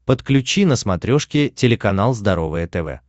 подключи на смотрешке телеканал здоровое тв